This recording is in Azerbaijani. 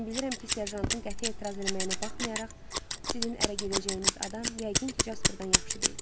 Mən bilirəm ki, serjantın qəti etiraz eləməyinə baxmayaraq, sizin ərə gedəcəyiniz adam yəqin ki, Jasperdan yaxşı deyil.